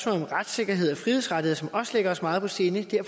om retssikkerhed og frihedsrettigheder som også ligger os meget på sinde